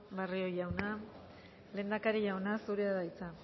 barrio jauna lehendakari jauna zurea da hitza